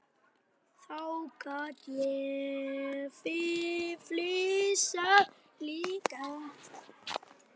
Þá gat ég flissað líka.